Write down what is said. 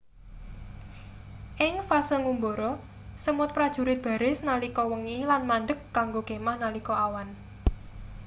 ing fase ngumbara semut prajurit baris nalika wengi lan mandheg kanggo kemah nalika awan